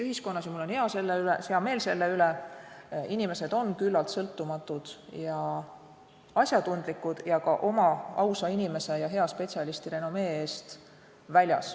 Mul on hea meel selle üle, et Eesti ühiskonnas on inimesed küllaltki sõltumatud ja asjatundlikud, nad on ka väljas oma ausa inimese ja hea spetsialisti renomee eest.